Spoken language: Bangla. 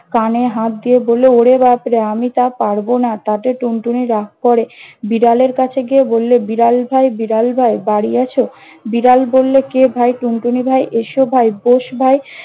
কানে হাত দিয়ে বললে- ওরে বাপরে! আমি তা পারব না। তাতে টুনটুনি রাগ করে বিড়ালের কাছে গিয়ে বললে- বিড়াল ভাই, বিড়াল ভাই, বাড়ি আছ? বিড়াল বললে- কে ভাই? টুনটুনি ভাই? এসো ভাই, বস ভাই।